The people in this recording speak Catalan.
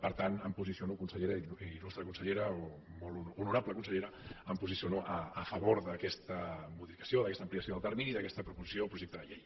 per tant em posiciono consellera il·lustre consellera o molt honorable consellera em posiciono a favor d’aquesta modificació d’aquesta ampliació del termini d’aquesta proposició o projecte de llei